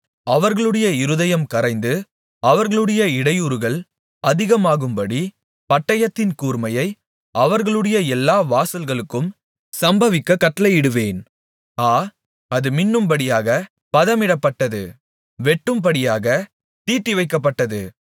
அவர்களுடைய இருதயம் கரைந்து அவர்களுடைய இடையூறுகள் அதிகமாகும்படி பட்டயத்தின் கூர்மையை அவர்களுடைய எல்லா வாசல்களுக்கும் சம்பவிக்கக் கட்டளையிடுவேன் ஆ அது மின்னும்படியாகப் பதமிடப்பட்டது வெட்டும்படியாகத் தீட்டிவைக்கப்பட்டது